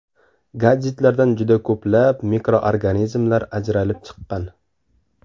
Gadjetlardan juda ko‘plab mikroorganizmlar ajralib chiqqan.